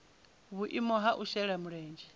vhuimo ha u shela mulenzhe